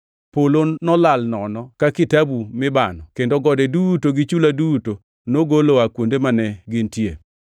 Polo nolal nono ka kitabu mibano kendo gode duto gi chula duto nogol oa kuonde mane gintie.